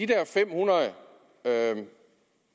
der fem hundrede